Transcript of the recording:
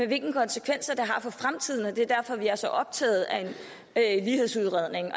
hvilke konsekvenser det har for fremtiden og det er derfor at vi er så optaget af en lighedsudredning